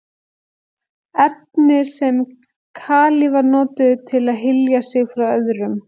Efni sem kalífar notuðu til að hylja sig frá öðrum.